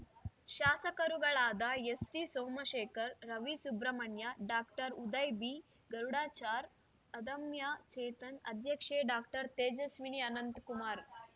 ಶಾಸಕರುಗಳಾದ S T Somashekar Ravi Subramanya doctor Uday B Garudachar Adamya Chetan ಅಧ್ಯಕ್ಷೆ doctor Tejaswini Ananthkumar